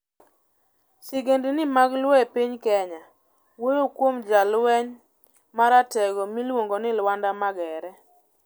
Sigendni mag Luo e piny Kenya wuoyo kuom jalweny ma ratego miluongo ni Lwanda Magere.